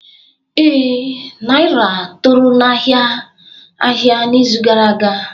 Ee, Naira toro n'ahịa ahịa n'izu gara aga